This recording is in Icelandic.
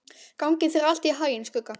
Gangi þér allt í haginn, Skugga.